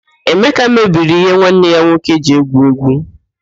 Emeka mebiri ihe nwanne ya nwoke ji egwu égwú.